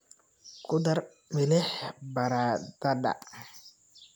Ku dar milix baradhada.